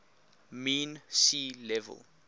mean sea level